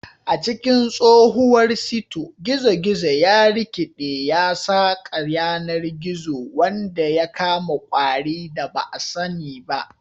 A cikin tsohuwar sito, gizo-gizo ya rikiɗe ya saƙa yanar gizo wanda ya kama ƙwari da ba a sani ba.